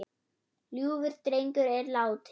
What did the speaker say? Ljúfur drengur er látinn.